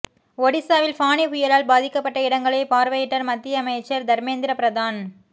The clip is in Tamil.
ஒடிசாவில் ஃபானி புயலால் பாதிக்கப்பட்ட இடங்களை பார்வையிட்டார் மத்தியமைச்சர் தர்மேந்திர பிரதான்